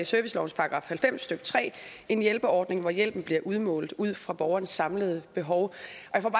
servicelovens § halvfems stykke tre en hjælpeordning hvor hjælpen bliver udmålt ud fra borgerens samlede behov